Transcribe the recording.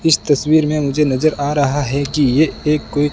इस तस्वीर में मुझे नजर आ रहा है कि ये एक कोई--